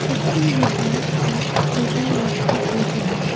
मस्जिद में बैठकर पूजा आर्चना कर रहे हैं।